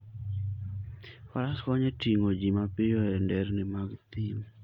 Faras konyo e ting'o ji mapiyo e nderni mag thim.